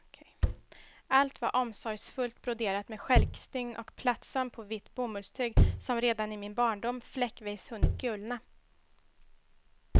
Allt var omsorgsfullt broderat med stjälkstygn och plattsöm på vitt bomullstyg, som redan i min barndom fläckvis hunnit gulna.